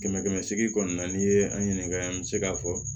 Kɛmɛ kɛmɛ seegin kɔni na n'i ye an ɲininka an bɛ se k'a fɔ